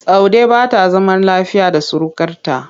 Saude ba ta zama lafiya da surukarta.